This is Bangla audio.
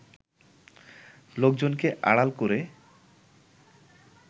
লোকজনকে আড়াল করে